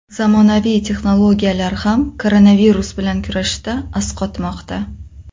Zamonaviy texnologiyalar ham koronavirus bilan kurashishda asqatmoqda.